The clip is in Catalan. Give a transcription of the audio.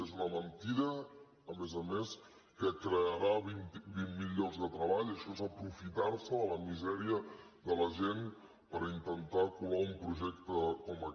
és una mentida a més a més que crearà vint mil llocs de treball això és aprofitar·se de la misèria de la gent per intentar colar un projec·te com aquest